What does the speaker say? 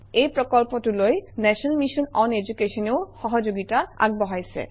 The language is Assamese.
এই প্ৰকল্পটোলৈ নেশ্যনেল মিছন অন education এও সহযোগিতা আগবঢ়াইছে